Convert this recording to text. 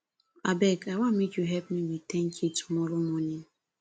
abeg i wan make you help me with 10k tomorrow morning